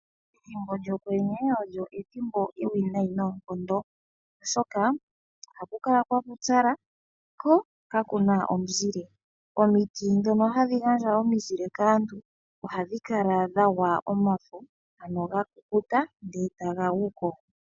Ethimbo lyokwenye olyo ethimbo ewinayi noonkondo oshoka ohaku kala kwa pupyala ko kakuna omuzile omiti ndhono hadhi gandja omizile kaantu ohadhi kala dha kukuta eta ga guko.